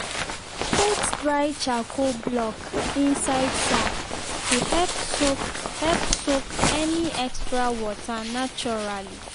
put dry charcoal block inside sack to help soak help soak any extra water naturally.